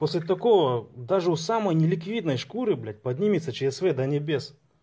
после такого даже у самой неликвидной шкуры блять поднимется чсв до небес